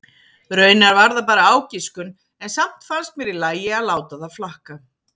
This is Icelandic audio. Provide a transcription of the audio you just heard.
Raunar var það bara ágiskun en samt fannst mér í lagi að láta það flakka.